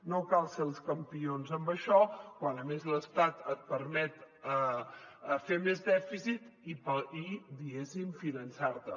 no cal ser els campions en això quan a més l’estat et permet fer més dèficit i diguéssim finançar te